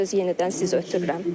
Sözü yenidən sizə ötürürəm.